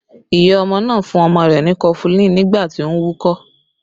Iya ọmọ náà fún ọmọ rẹ ni kọfulin nígbà tí ó ń wúkọ́